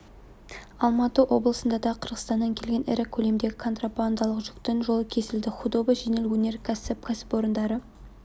алматы облысында да қырғызстаннан келген ірі көлемдегі контрабандалық жүктің жолы кесілді худова жеңіл өнеркәсіп кәсіпорындары